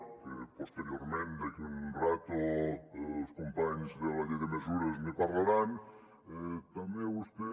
que posteriorment d’aquí a una estona els companys de la llei de mesures ne parlaran també vostè